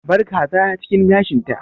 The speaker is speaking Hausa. Abar kaza cikin gashin ta!